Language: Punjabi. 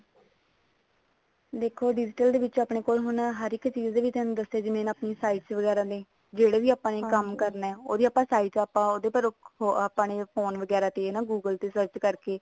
ਦੇਖੋ digital ਦੇ ਵਿੱਚ ਆਪਣੇ ਕੋਲ ਹਰ ਇੱਕ ਚੀਜ਼ ਦੇ ਵਿੱਚ ਥੋਨੂੰ ਦੱਸਿਆ ਜਿਵੇਂ ਆਪਣੀ sites ਵਗੈਰਾ ਨੇ ਜਿਹੜਾ ਵੀ ਆਪਾਂ ਨੇ ਕੰਮ ਕਰਨਾ ਉਹਦੀ ਆਪਾਂ site ਉਹਦੇ ਪਰ ਆਪਾਂ ਨੇ phone ਵਗੇਰਾ ਤੇ google ਤੇ search ਕਰਕੇ